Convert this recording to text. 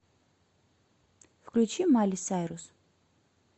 включи майли сайрус